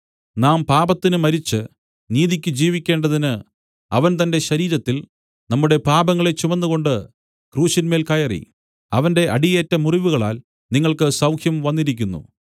നാം പാപത്തിന് മരിച്ച് നീതിയ്ക്ക് ജീവിക്കേണ്ടതിന് അവൻ തന്റെ ശരീരത്തിൽ നമ്മുടെ പാപങ്ങളെ ചുമന്നുകൊണ്ട് ക്രൂശിന്മേൽ കയറി അവന്റെ അടിയേറ്റ മുറിവുകളാൽ നിങ്ങൾക്ക് സൗഖ്യം വന്നിരിക്കുന്നു